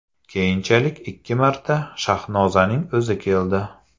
Keyinchalik ikki marta Shahnozaning o‘zi keldi.